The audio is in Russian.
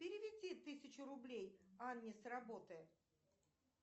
переведи тысячу рублей анне с работы